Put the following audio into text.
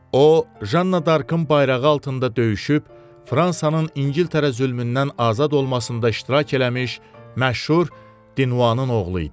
O Janna Darkın bayrağı altında döyüşüb, Fransanın İngiltərə zülmündən azad olmasında iştirak eləmiş məşhur Dinuvanın oğlu idi.